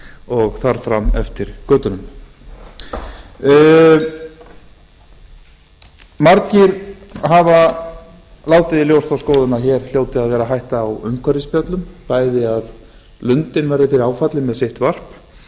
og þar fram eftir götunum margir hafa látið í ljós þá skoðun að hér hljóti að vera hætta á umhverfisspjöllum bæði að lundinn verði fyrir áföllum með sitt varp